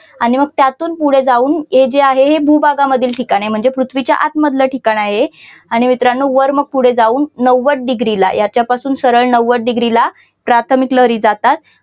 आणि मग त्यातून पुढे जाऊन हे जे आहे हे विभागांमध्ये ठिकाण आहे म्हणजे पृथ्वीच्या आत मधल ठिकाण आहे आणि मित्रांनो वर मग पुढे जाऊन नव्वद डिग्री ला याच्यापासून सरळ नव्वद डिग्री ला प्राथमिक लहरी जातात.